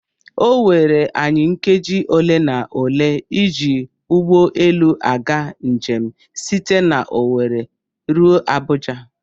Oweere anyị nkeji ole na ole ịji ụgbọelu aga njem site n'Owere ruo Abuja.